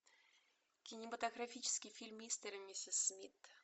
кинематографический фильм мистер и миссис смит